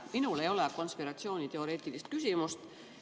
Minul ei ole konspiratsiooniteoreetilist küsimust.